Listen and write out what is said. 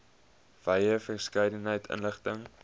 wye verskeidenheid inligting